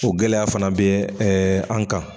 O gɛlɛya fana be ɛ an kan